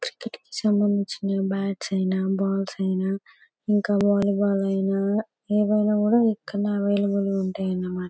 సంబంధించిన బ్యాట్స్ ఐన బాల్స్ ఐన ఇంకా వలీబాల్ ఐన ఏవైనా కూడా ఇక్కడ అవైలబ్లె గ ఉంటాయన్నమాట .